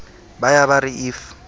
ba ya ba re if